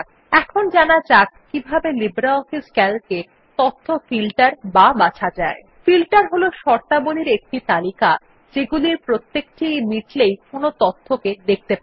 এখন জানা যাক কিভাবে লিব্রিঅফিস Calc এ তথ্য ফিল্টার বা বাছা যায়